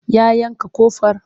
Ya yanka ƙofar?